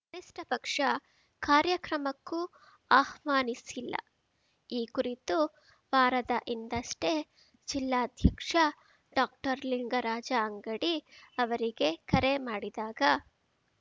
ಕನಿಷ್ಠಪಕ್ಷ ಕಾರ‍್ಯಕ್ರಮಕ್ಕೂ ಆಹ್ವಾನಿಸಿಲ್ಲ ಈ ಕುರಿತು ವಾರದ ಹಿಂದಷ್ಟೇ ಜಿಲ್ಲಾಧ್ಯಕ್ಷ ಡಾಕ್ಟರ್ಲಿಂಗರಾಜ ಅಂಗಡಿ ಅವರಿಗೆ ಕರೆ ಮಾಡಿದಾಗ